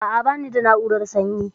A'a, bani da na'urar sanyi.